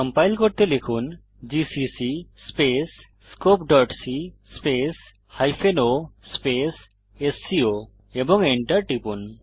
compile করতে লিখুন GCC scopeসি o স্কো এবং enter টিপুন